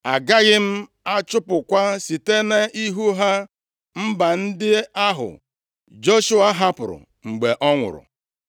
agaghị m achụpụkwa site nʼihu ha mba ndị ahụ Joshua hapụrụ mgbe ọ nwụrụ.